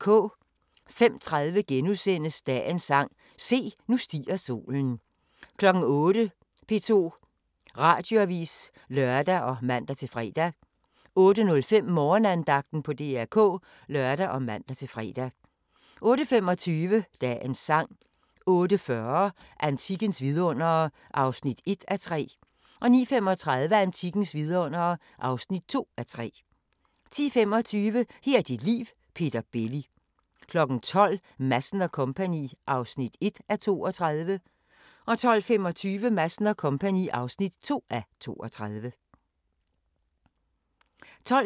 05:30: Dagens sang: Se, nu stiger solen * 08:00: P2 Radioavis (lør og man-fre) 08:05: Morgenandagten på DR K (lør og man-fre) 08:25: Dagens sang 08:40: Antikkens vidundere (1:3) 09:35: Antikkens vidundere (2:3) 10:25: Her er dit liv – Peter Belli 12:00: Madsen & Co. (1:32) 12:25: Madsen & Co. (2:32) 12:45: Den gode, den onde og den virk'li sjove.